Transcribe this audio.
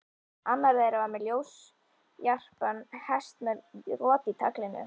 Annar þeirra var með ljósjarpan hest með rot í taglinu.